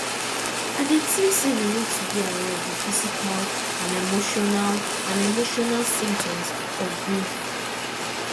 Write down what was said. i dey think say we need to be aware of di physical and emotinal and emotinal symptoms of grief